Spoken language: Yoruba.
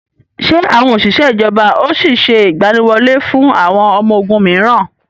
Ṣé àwọn ìjọba ó sì sé ìgbàníwọlé fún àwọn ọmọ ogún miran?